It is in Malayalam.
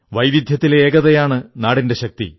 വൈവിധ്യത്തിലെ ഏകതയാണ് നാടിന്റെ ശക്തി